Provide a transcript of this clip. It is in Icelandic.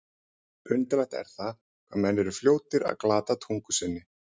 Undarlegt er það, hvað menn eru fljótir að glata tungu sinni.